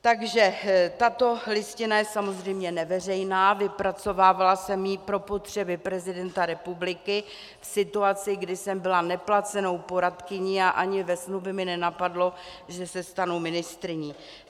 Takže tato listina je samozřejmě neveřejná, vypracovávala jsem ji pro potřeby prezidenta republiky v situaci, kdy jsem byla neplacenou poradkyní a ani ve snu by mě nenapadlo, že se stanu ministryní.